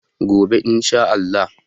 gobe in Sha Allah